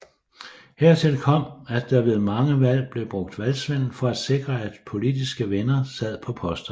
Hertil kom at der ved mange valg blev brugt valgsvindel for at sikre at politiske venner sad på posterne